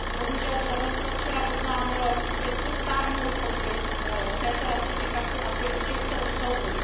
Bohužel, Slovensko včera oznámilo, že chce stáhnout podpis z této ratifikace a že chce odstoupit.